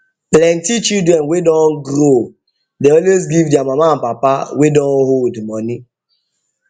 plenty children wey don grow dey always give their mama and papa wey don old money